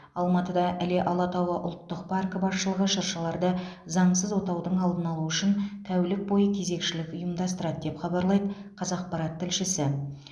алматыда іле алатауы ұлттық паркі басшылығы шыршаларды заңсыз отаудың алдын алу үшін тәулік бойы кезекшілік ұйымдастырады деп хабарлайды қазақпарат тілшісі